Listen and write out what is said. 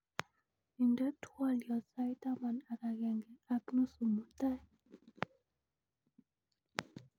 inde twolyot sait taman ak agenge ak nuzu mutai